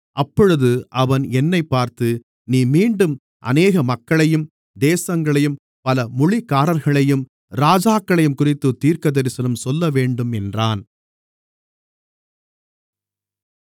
அப்பொழுது அவன் என்னைப் பார்த்து நீ மீண்டும் அநேக மக்களையும் தேசங்களையும் பல மொழிக்காரர்களையும் ராஜாக்களையும்குறித்துத் தீர்க்கதரிசனம் சொல்லவேண்டும் என்றான்